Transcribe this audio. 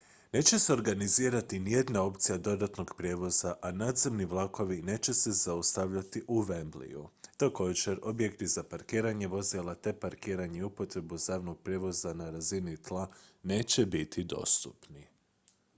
neće se organizirati nijedna opcija dodatnog prijevoza a nadzemni vlakovi neće se zaustavljati u wembleyu također objekti za parkiranje vozila te parkiranje i upotrebu javnog prijevoza na razini tla neće biti dostupni